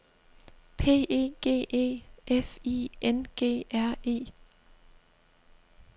P E G E F I N G R E